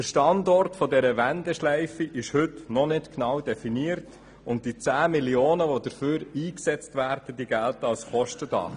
Der Standort der Wendeschleife ist heute noch nicht genau definiert, und die 10 Mio. Franken, welche dafür eingesetzt werden, gelten als Kostendach.